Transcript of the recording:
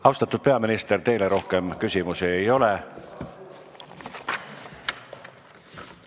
Austatud peaminister, teile rohkem küsimusi ei ole.